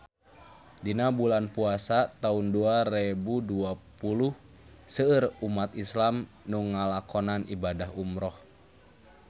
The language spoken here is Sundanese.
Dina bulan Puasa taun dua rebu dua puluh seueur umat islam nu ngalakonan ibadah umrah